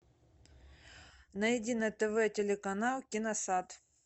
найди на тв телеканал киносад